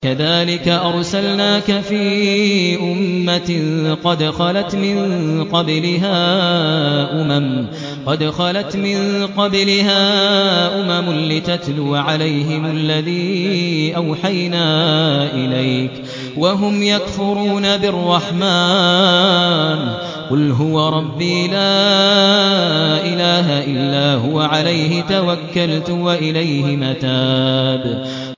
كَذَٰلِكَ أَرْسَلْنَاكَ فِي أُمَّةٍ قَدْ خَلَتْ مِن قَبْلِهَا أُمَمٌ لِّتَتْلُوَ عَلَيْهِمُ الَّذِي أَوْحَيْنَا إِلَيْكَ وَهُمْ يَكْفُرُونَ بِالرَّحْمَٰنِ ۚ قُلْ هُوَ رَبِّي لَا إِلَٰهَ إِلَّا هُوَ عَلَيْهِ تَوَكَّلْتُ وَإِلَيْهِ مَتَابِ